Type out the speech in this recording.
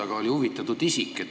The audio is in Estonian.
Aga oli huvitatud isik.